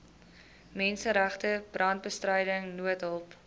menseregte brandbestryding noodhulp